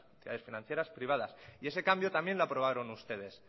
entidades financieras privadas y ese cambio también lo aprobaron ustedes